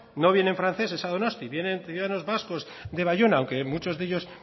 no vienen franceses a donostia vienen ciudadanos vascos de baiona o qué muchos de ellos